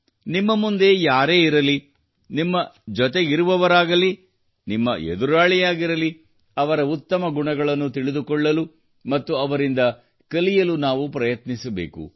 ನಿಮ್ಮ ಮುಂದೆ ಯಾರೇ ಇರಲಿ ನಿಮ್ಮ ಜೊತೆಗಿರುವವರಾಗಿರಲಿ ನಿಮ್ಮ ಎದುರಾಳಿಯಾಗಿರಲಿ ಅವರ ಉತ್ತಮ ಗುಣಗಳನ್ನು ತಿಳಿದುಕೊಳ್ಳಲು ಮತ್ತು ಅವರಿಂದ ಕಲಿಯಲು ನಾವು ಪ್ರಯತ್ನಿಸಬೇಕು